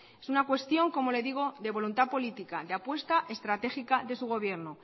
es una cuestión como le digo de voluntad política de apuesta estratégica de su gobierno